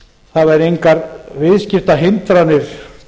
það væru engar viðskiptahindranir